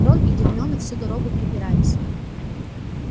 рон и гермиона всю дорогу препирались